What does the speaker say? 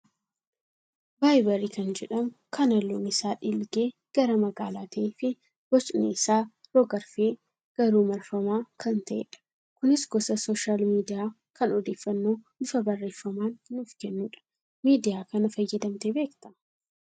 Vaayibarii kan jedhamuu kan halluun isaa dhiilgee gara magaalaa ta'ee fi bocni isaa rog-arfee garuu marfamaa kan ta'edha. Kunis gosa sooshaal miidiyaa kan odeeffannoo bifa barreeffamaan nuuf kennudha. Miidiyaa kana fayyadamtee beektaa?